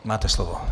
Máte slovo.